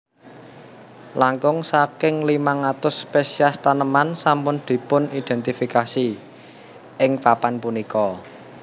Langkung saking limang atus spesies taneman sampun dipunidentifikasi ing papan punika